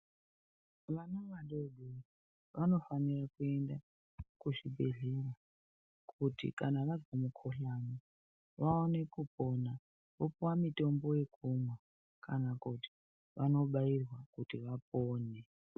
Vana vadodori vanofanire kuenda kuzvibhedhlera kuti kana vazwa mukhuhlani vaone kupona vopiwa mitombo yekumwa kana kuti vanobairwa kuti vapone.